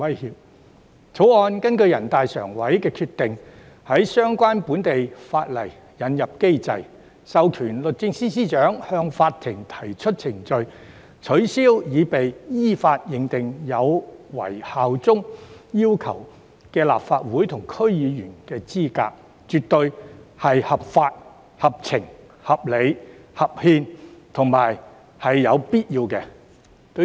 《條例草案》根據人大常委會的決定，在相關本地法例引入機制，授權律政司司長向法庭提出法律程序，取消經依法認定後有違效忠要求的立法會及區議會議員資格，絕對是合法、合情、合理、合憲及有必要。